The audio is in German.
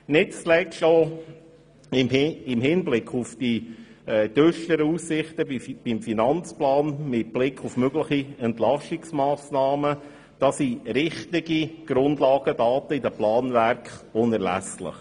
Nicht zuletzt auch im Hinblick auf die düsteren Aussichten beim Finanzplan und mit Blick auf mögliche Entlastungsmassnahmen sind wichtige Grundlagendaten in den Planwerken unerlässlich.